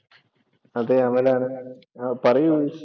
അതെ, അമൽ ആണ്. ആഹ് പറയു